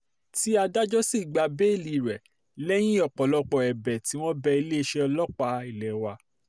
tí adájọ́ sì gba béèlì rẹ̀ lẹ́yìn ọ̀pọ̀lọpọ̀ ẹ̀bẹ̀ tí wọ́n bẹ iléeṣẹ́ ọlọ́pàá ilé wa